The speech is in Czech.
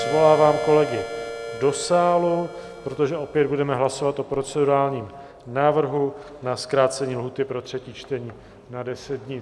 Svolávám kolegy do sálu, protože opět budeme hlasovat o procedurálním návrhu na zkrácení lhůty pro třetí čtení na 10 dní.